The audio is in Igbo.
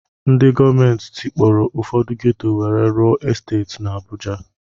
Ndị gọọmenti tikpọrọ Ụfọdụ ghetto wee rụọ esteeti na Abuja